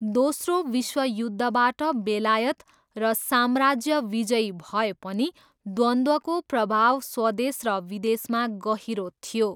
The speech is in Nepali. दोस्रो विश्वयुद्धबाट बेलायत र साम्राज्य विजयी भए पनि द्वन्द्वको प्रभाव स्वदेश र विदेशमा गहिरो थियो।